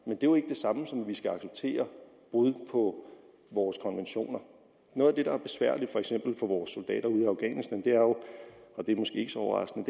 er jo ikke det samme som at vi skal acceptere brud på vores konventioner noget af det der er besværligt for eksempel for vores soldater ude i afghanistan er jo og det er måske ikke så overraskende